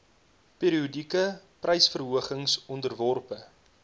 periodieke prysverhogings onderworpe